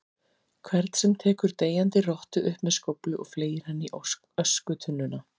hvern sem tekur deyjandi rottu upp með skóflu og fleygir henni í öskutunnuna.